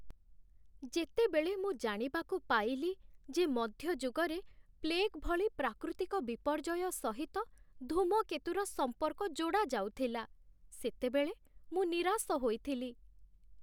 ଯେତେବେଳେ ମୁଁ ଜାଣିବାକୁ ପାଇଲି ଯେ ମଧ୍ୟଯୁଗରେ ପ୍ଲେଗ୍ ଭଳି ପ୍ରାକୃତିକ ବିପର୍ଯ୍ୟୟ ସହିତ ଧୂମକେତୁର ସମ୍ପର୍କ ଯୋଡ଼ାଯାଉଥିଲା, ସେତେବେଳେ ମୁଁ ନିରାଶ ହୋଇଥିଲି।